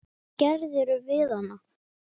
Hvað gerðir þú við hana?